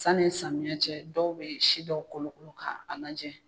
Sanni samiyɛ cɛ dɔw bɛ si dɔw kolonkolo ka a la jɛ.